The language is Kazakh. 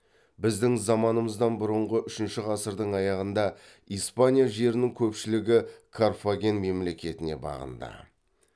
біздің заманымыздан бұрынғы үшінші ғасырдың аяғында испания жерінің көпшілігі карфаген мемлекетіне бағынды